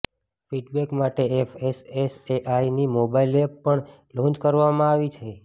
feedback માટે એફએસએસએઆઈની mobile app પણ લોન્ચ કરવામાં આવી છે